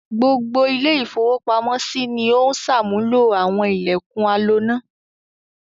Gbogbo ilé-ìfowópamọ́sí ni ó ń ṣàmúlò àwọn ilẹ̀kùn aloná.